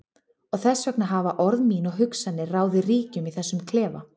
Og þess vegna hafa orð mín og hugsanir ráðið ríkjum í þessum klefa.